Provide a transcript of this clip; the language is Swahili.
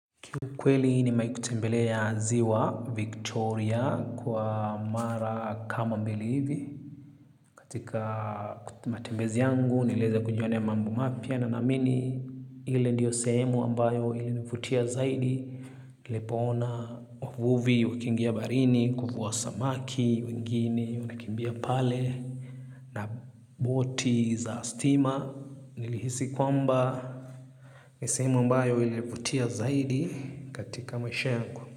Ki ukweli nimewahi kutembelea ziwa Victoria kwa mara kama mbili hivi. Katika matembezi yangu niliweza kujionea mambo mapya na naamini ile ndio sehemu ilinivutia zaidi. Nilipoona wavuvi wakiingia baharini kuvua samaki wengine wanakimbia pale na boti za stima. Nilihisi kwamba ni sehemu ambayo ilinivutia zaidi katika maisha yangu.